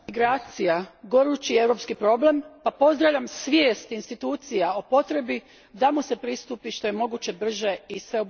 gorući europski problem pa pozdravljam svijest institucija o potrebi da mu se pristupi što je moguće brže i sveobuhvatnije.